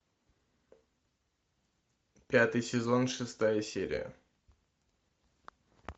пятый сезон шестая серия